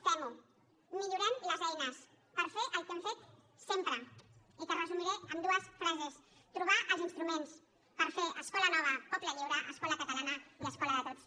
femho millorem les eines per fer el que hem fet sempre i que resumiré en dues frases trobar els instruments per fer escola nova poble lliure escola catalana i escola de tots